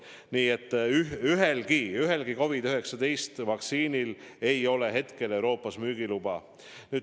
Nii et ühelgi COVID-19 vaktsiinil ei ole hetkel Euroopas müügiluba.